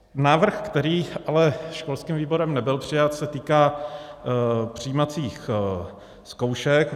Návrh, který ale školským výborem nebyl přijat, se týká přijímacích zkoušek.